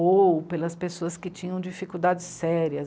Ou pelas pessoas que tinham dificuldades sérias.